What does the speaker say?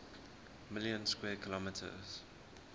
million square kilometers